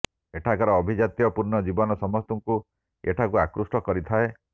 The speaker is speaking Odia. ଏଠାକାର ଆଭିଜାତ୍ୟ ପୂର୍ଣ୍ଣ ଜୀବନ ସମସ୍ତଙ୍କୁ ଏଠାକୁ ଆକୃଷ୍ଟ କରିଥାଏ